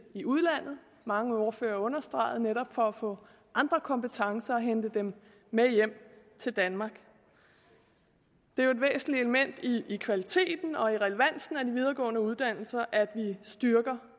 i udlandet mange ordførere understregede det netop for at få andre kompetencer og hente dem med hjem til danmark det er jo et væsentligt element i kvaliteten og i relevansen af de videregående uddannelser at vi styrker